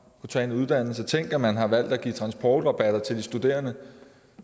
tage en uddannelse tænk at man har valgt at give transportrabat til de studerende